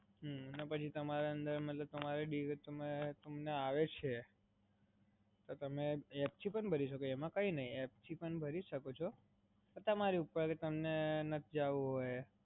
હાં અને પછી તમને આવડે છે તો તમે app થી પણ ભરી શકો, એમાં કાઇ નહીં, એપથી પણ ભરી શકો છો. પણ તમારી ઉપર છે કે તમને ના જવું હોય